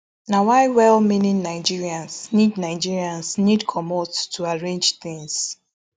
na why well meaning nigerians need nigerians need comot to arrange tins